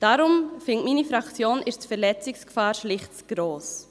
Deshalb findet meine Fraktion die Verletzungsgefahr schlicht zu gross.